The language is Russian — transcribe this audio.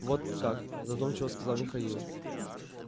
вот как задумчиво сказал михаил